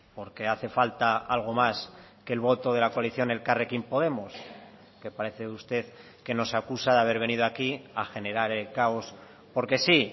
porque hace falta algo más que el voto de la coalición elkarrekin podemos que parece usted que nos acusa de haber venido aquí a generar el caos porque sí